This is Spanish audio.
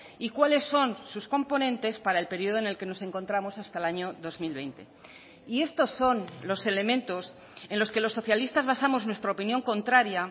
y cuáles son sus componentes para el periodo en el que nos encontramos hasta el año dos mil veinte y estos son los elementos en los que los socialistas basamos nuestra opinión contraria